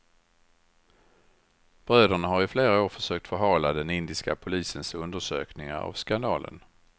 Bröderna har i flera år försökt förhala den indiska polisens undersökningar av skandalen.